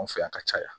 Anw fɛ yan ka caya